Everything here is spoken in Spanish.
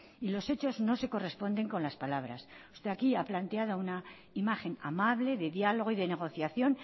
y los hechos no se corresponden con las palabras usted aquí ha planteado una imagen amable de diálogo y de negociación